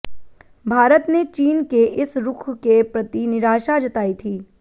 भारत ने चीन के इस रुख के प्रति निराशा जताई थी